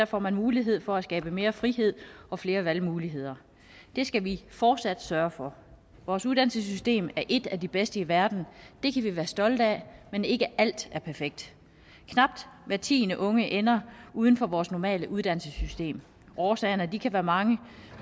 får man mulighed for at skabe mere frihed og flere valgmuligheder det skal vi fortsat sørge for vores uddannelsessystem er et af de bedste i verden det kan vi være stolte af men ikke alt er perfekt knap hver tiende unge ender uden for vores normale uddannelsessystem årsagerne kan være mange